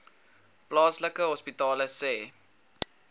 plaaslike hospitale sê